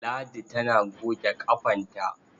Ladi tana goge ƙafanta.